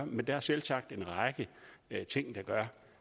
men der er selvsagt en række ting der gør